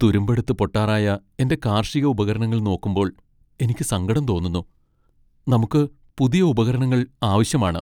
തുരുമ്പെടുത്ത് പൊട്ടാറായ എന്റെ കാർഷിക ഉപകരണങ്ങൾ നോക്കുമ്പോൾ എനിക്ക് സങ്കടം തോന്നുന്നു. നമുക്ക് പുതിയ ഉപകരണങ്ങൾ ആവശ്യമാണ്.